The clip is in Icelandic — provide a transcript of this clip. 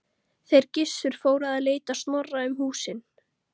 Þeir Gissur fóru að leita Snorra um húsin.